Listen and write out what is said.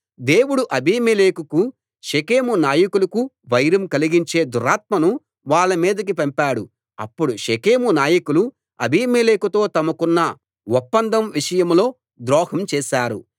దేవుడు అబీమెలెకుకు షెకెము నాయకులకు వైరం కలిగించే దురాత్మను వాళ్ళ మీదికి పంపాడు అప్పుడు షెకెము నాయకులు అబీమేలెకుతో తమకున్న ఇప్పండం విషయంలో ద్రోహం చేశారు